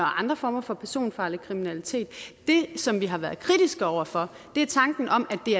andre former for personfarlig kriminalitet det som vi har været kritiske over for er tanken om at det